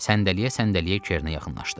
Səndələyə-səndələyə Kerinə yaxınlaşdı.